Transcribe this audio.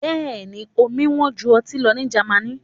Bẹ́ẹ̀ ni, omi wọ́n ju ọtí lọ ní Germany.